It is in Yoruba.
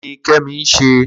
Kini Kemi n sè?